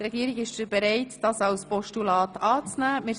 Die Regierung ist bereit, diese als Postulat anzunehmen.